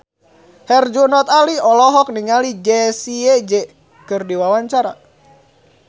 Herjunot Ali olohok ningali Jessie J keur diwawancara